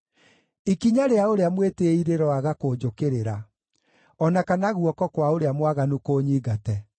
Ikinya rĩa ũrĩa mwĩtĩĩi rĩroaga kũnjũkĩrĩra, o na kana guoko kwa ũrĩa mwaganu kũnyingate.